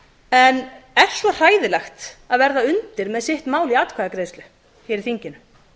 en er svo hræðilegt að verða undir með sitt mál í atkvæðagreiðslu í þinginu